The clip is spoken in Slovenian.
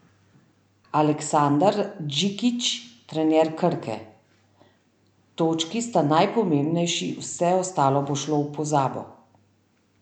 Aleksandar Džikić, trener Krke: "Točki sta najpomembnejši, vse ostalo bo šlo v pozabo.